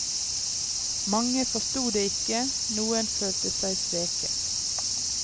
Mange forsto det ikke, noen følte seg sveket.